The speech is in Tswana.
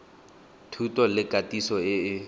thuto le katiso e e